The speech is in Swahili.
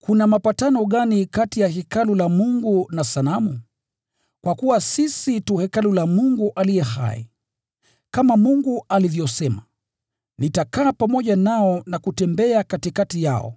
Kuna mapatano gani kati ya Hekalu la Mungu na sanamu? Kwa kuwa sisi tu Hekalu la Mungu aliye hai. Kama Mungu alivyosema: “Nitakaa pamoja nao na kutembea katikati yao,